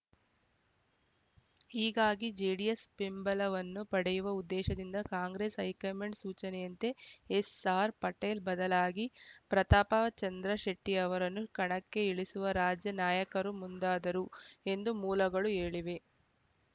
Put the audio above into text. ಹೀಗಾಗಿ ಜೆಡಿಎಸ್‌ ಬೆಂಬಲವನ್ನು ಪಡೆಯುವ ಉದ್ದೇಶದಿಂದ ಕಾಂಗ್ರೆಸ್‌ ಹೈಕಮಾಂಡ್‌ ಸೂಚನೆಯಂತೆ ಎಸ್‌ಆರ್‌ ಪಾಟೀಲ್‌ ಬದಲಾಗಿ ಪ್ರತಾಪ ಚಂದ್ರಶೆಟ್ಟಿ ಅವರನ್ನು ಕಣಕ್ಕೆ ಇಳಿಸಲು ರಾಜ್ಯ ನಾಯಕರು ಮುಂದಾದರು ಎಂದು ಮೂಲಗಳು ಹೇಳಿವೆ